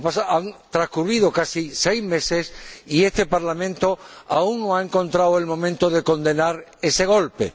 Han transcurrido casi seis meses y este Parlamento aún no ha encontrado el momento de condenar ese golpe